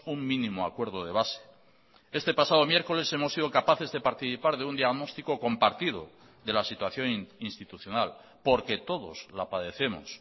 un mínimo acuerdo de base este pasado miércoles hemos sido capaces de participar de un diagnóstico compartido de la situación institucional porque todos la padecemos